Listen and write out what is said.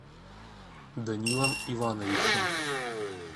данилом ивановичем